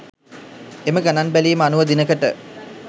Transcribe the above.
එම ගණන් බැලීම අනුව දිනකට